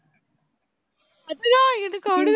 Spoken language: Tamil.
அச்சோ எனக்கு